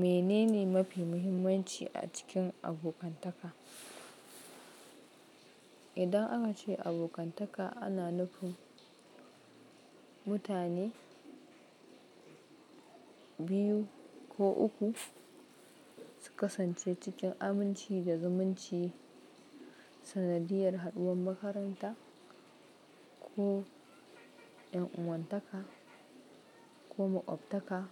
Menene mafi muhimmanci a cikin abokantaka? Idan aka ce abokantaka ana nufin mutane biyu ko uku su kasance cikin aminci da zumunci. Sanadiyar haɗuwar makaranta ko ƴan uwantaka ko maƙwabtaka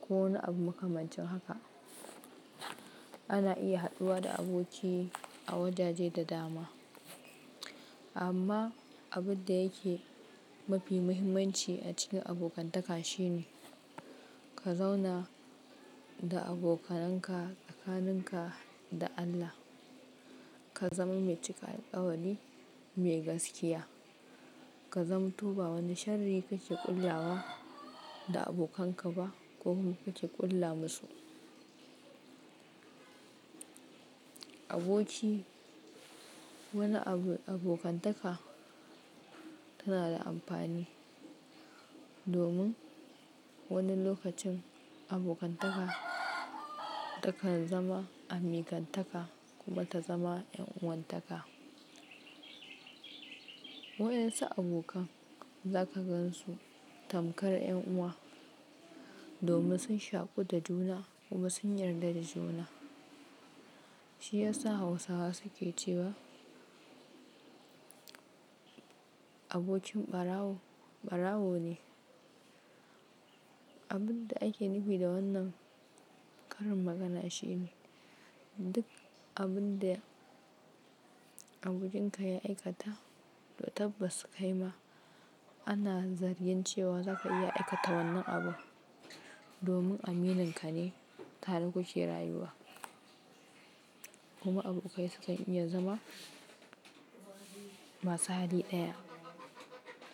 ko wani abu makamancin haka ana iya haɗuwa da aboki a wajaje da dama. Amma abin da yake mafi muhimmanci a cikin abokantaka shine ka zauna da abokananka tsakaninka da Allah. Ka zama mai cika alkawari mai gaskiya. Ka zamu to ba wani shari kake ƙulyawa da abokanka ba ko kuma kake ƙulla musu. Aboki wani abu abokantaka tana da amfani domin wani lokacin abokantaka takan zama amikantaka kuma ta zama ƴan uwantaka. Wa yansa abokan za ka gansu tamkar ƴan uwa domin sun shaƙu da juna kuma sun yarda da juna. Shi yasa Hausawa suke cewa abokin ɓarawo ɓarawo ne. Abin da ake nufi da wannan karin magana shine duk abun da abokinka ya aikata to tabbas kaima ana zargin cewa za ka iya aikata wannan abu domin amininka ne tare ku ke rayuwa. Kuma abokai sukan iya zama masu hali ɗaya.